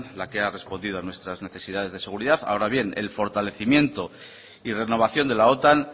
la que ha respondido a nuestras necesidades de seguridad ahora bien el fortalecimiento y renovación de la otan